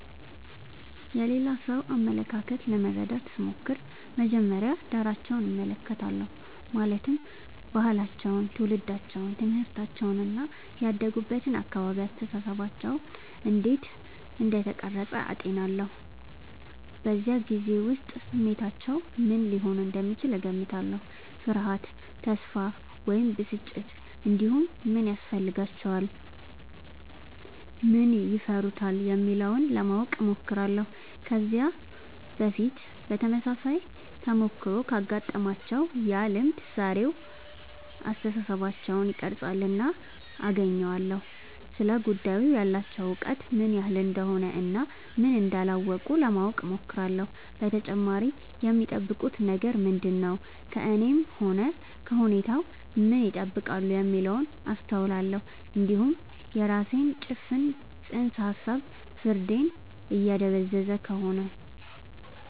የሌላ ሰው አመለካከት ለመረዳት ስሞክር መጀመሪያ ዳራቸውን እመለከታለሁ ማለትም ባህላቸው ትውልዳቸው ትምህርታቸው እና ያደጉበት አካባቢ አስተሳሰባቸውን እንዴት እንደቀረጸ አጤናለሁ በዚያ ጊዜ ውስጥ ስሜታቸው ምን ሊሆን እንደሚችል እገምታለሁ ፍርሃት ተስፋ ወይም ብስጭት እንዲሁም ምን ያስፈልጋቸዋል ምን ይፈሩታል የሚለውን ለማወቅ እሞክራለሁ ከዚህ በፊት ተመሳሳይ ተሞክሮ ካጋጠማቸው ያ ልምድ ዛሬውን አስተሳሰባቸውን ይቀርፃልና አገናኘዋለሁ ስለ ጉዳዩ ያላቸው እውቀት ምን ያህል እንደሆነ እና ምን እንዳላወቁ ለማወቅ እሞክራለሁ በተጨማሪም የሚጠብቁት ነገር ምንድነው ከእኔም ሆነ ከሁኔታው ምን ይጠብቃሉ የሚለውን አስተውላለሁ እንዲሁም የራሴ ጭፍን ጽንሰ ሀሳብ ፍርዴን እያደበዘዘ ከሆነ